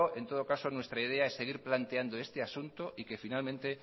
en todo caso nuestra idea es seguir planteando este asunto y que finalmente